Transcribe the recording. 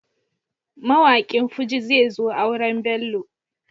Mawaƙin Fuji zezo auren Bello.